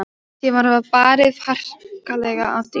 Síðan var barið harkalega að dyrum.